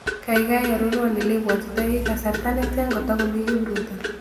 Gaigai arorwon elebwatitoi kasarta ne tian kotokomii kipruto